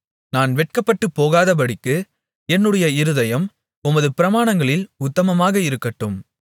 நான் வெட்கப்பட்டுப் போகாதபடிக்கு என்னுடைய இருதயம் உமது பிரமாணங்களில் உத்தமமாக இருக்கட்டும்